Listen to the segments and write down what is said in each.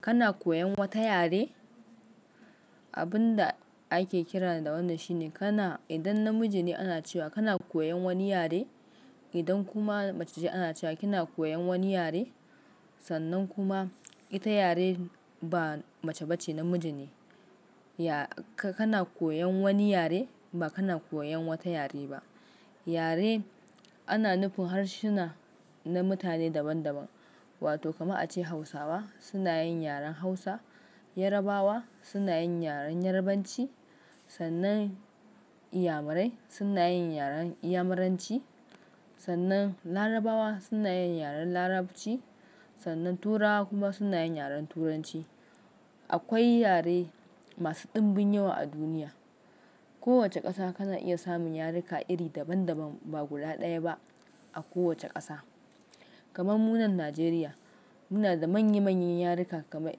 Kana koyan wata yare? Abin da ake kira da wannan shine kana, idan namiji ne ana cewa kana koyan wani yare. Idan kuma mace ce ana cewa kina koyan wani yare. Sannan kuma ita yare ba mace ba ce namiji ne. Ya-- ka-kana koyan wani yare ba kana koyan wata yare ba. Yare ana nufin harsuna na mutane daban daban, wato kama a ce Hausawa suna yin yaren Hausa, Yarabawa suna yin yaren Yarabanci, sannan Iyamarai suna yin yaren Iyamaranci, sannan Larabawa suna yin yaren Larabci, sannan Turawa kuma suna yin yaren Turanci. Akwai yare masu ɗimbin yawa a duniya. Kowace ƙasa kana iya samun yaruka iri daban daban ba guda ɗaya ba a kowace ƙasa. Kamar mu na Najeriya muna da manya manyan yaruka kamar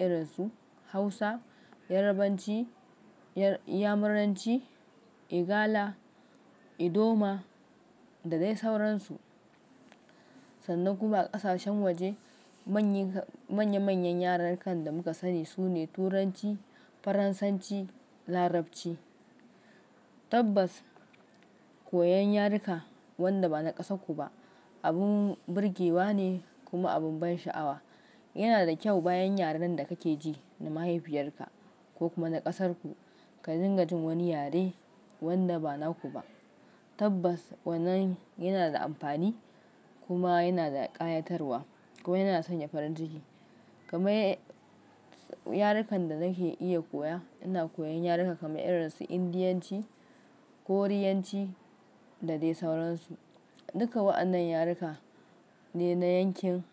irin su Hausa, Yarabanci, Yar-iyamaranci, Igala, Idoma da dai sauransu. Sannan kuma ƙasashen waje manya-manyan yarukan da muka sani sune Turanci, Faransanci, Larabci. Tabbas koyon yaruka wanda ba na ƙasarku ba abin birgewa ne kuma abin ban sha'awa. Yana da kyau bayan yaren da kake ji na mahaifiyarka ko kuma na ƙasarku ka dinga jin wani yare wanda ba naku ba. Tabbas wannan yana da amfani kuma yana da ƙayatarwa kuma yana sanya farin ciki. Kamar yarukan da nake iya koya, ina koyan yaruka kamar irin su Indiyanci, Koriyanci da dai sauransu. Duka wa'annan yaruka ne na yankin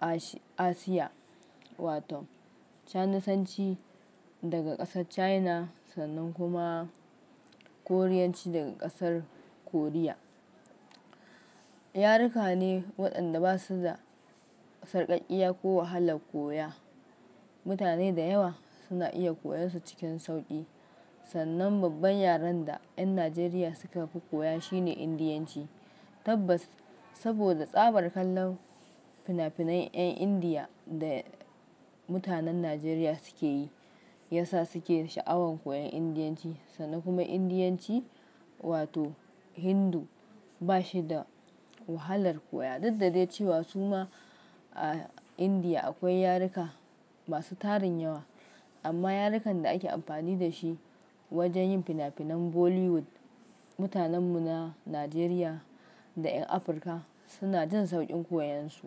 Asi-Asiya wato, Sanasanci daga ƙasar China sannan kuma Koriyanci daga ƙasar Korea. Yaruka ne waɗanda ba su da sarƙaƙƙiya ko wahalar koya. Mutane da yawa suna iya koyonsu cikin sauƙi. Sannan babban yaren da 'yan Najeriya suka fi koya shine Indiyanci. Tabbas saboda tsabar kallon finafinan 'yan Indiya da mutanen Najeriya suke yi, ya sa suke da sha'awan koyan Indiyanci, sannan kuma Indiyanci wato Hindu ba shi da wahalar koya. Duk da dai cewa su ma a Indiya akwai yaruka masu tarin yawa, amma yarukan da ake amfani da shi wajen yin finafinan Bollywood, mutanen mu na Najeriya da 'yan Afrika suna jin sauƙin koyan su.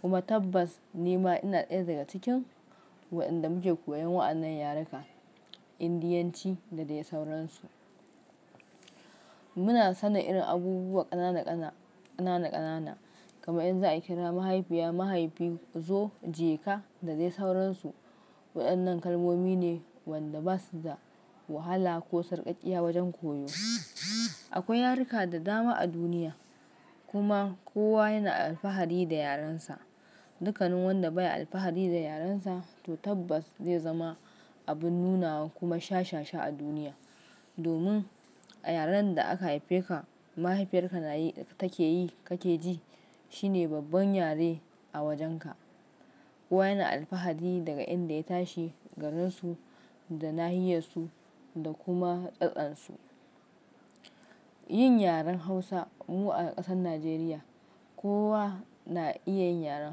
Kuma tabbas ni ma ina ɗaya daga cikin waɗanda muke koyan wa'annan yaruka, Indiyanci da dai sauransu. Muna sanin irin abubuwa ƙanana da ƙanana, ƙanana ƙanana kamar in za a kira mahaifiya, mahaifi, zo, jeka da dai sauransu. Waɗannan kalmomi ne waɗanda ba su da wahala ko sarƙaƙƙiya wajen koyo. Akwai yaruka da dama a duniya kuma kowa yana alfahari da yarensa. Dukkanin wanda bai alfahari da yarensa to tabbas zai zama abin nunawa kuma shashesha a duniya. Domin a yaren da aka haifeka mahaifiyarka na yi-- take yi kake ji shine babban yare a wajenka. Kowa yana alfahari daga inda ya tashi garinsu da nahiyarsu da kuma tsatansu. Yin yaren Hausa mu a ƙasar Najeriya, kowa na iya yin yaren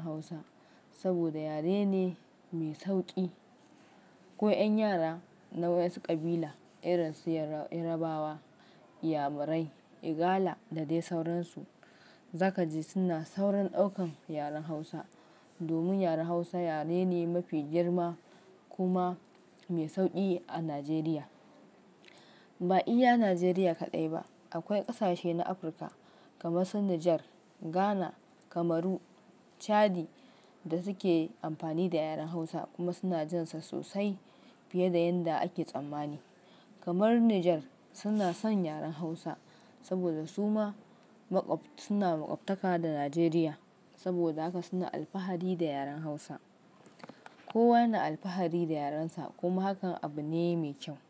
Hausa saboda yare ne mai sauƙi. Ko 'yan yara na wasu ƙabila irin su Yar-yarbawa, Iyamarai, Igala da dai sauransu, za ka ji suna saurin ɗaukan yaren Hausa. Domin yaren Hausa yare ne mafi girma kuma mai sauƙi a Najeriya. Ba iya Nigeria kadai ba akwai kasashe na afrika kamar su Niger, Ghana, Cameroon, chadi dasuke amfani da yaren hausa kuma suna jin sa sosai fiye da yanda ake tsammani. Kamar Niger suna san yaren hausa saboda suma suna makwabtaka da Nigeria saboda haka suna alfahari da yaren Hausa. Kowa yana alfahari da yarensa kuma hakan abu ne mai kyau.